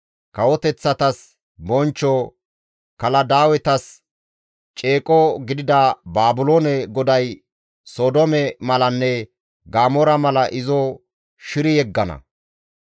Kawoteththatas bonchcho, Kaladaawetas ceeqo gidida Baabiloone GODAY Sodoome malanne Gamoora mala izo shiri yeggana.